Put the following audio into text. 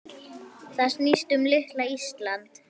Það snýst um litla Ísland.